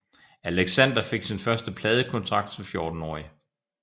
Alexander fik sin første pladekontrakt som 14 årig